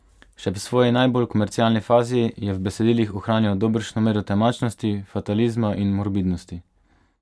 Še v svoji najbolj komercialni fazi je v besedilih ohranjal dobršno mero temačnosti, fatalizma in morbidnosti.